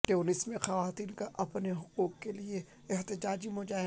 تیونس میں خواتین کا اپنے حقوق کے لیے احتجاجی مظاہرہ